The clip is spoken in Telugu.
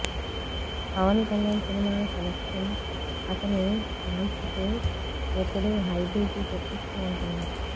పవన్ కళ్యాణ్ సినిమాల సెలెక్షన్ అతని ఫాన్స్ కి ఎప్పుడూ హై బీపీ తెప్పిస్తూ ఉంటుంది